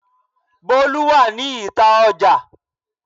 Bolu wà ní ìta Ọjà.